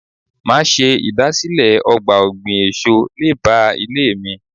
Máa ṣe ìdásílẹ̀ ọgbà ọ̀gbìn èso lé báà ilé mi.